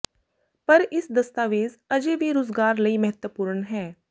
ਪਰ ਇਸ ਦਸਤਾਵੇਜ਼ ਅਜੇ ਵੀ ਰੁਜ਼ਗਾਰ ਲਈ ਮਹੱਤਵਪੂਰਨ ਹੈ